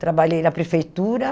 Trabalhei na prefeitura.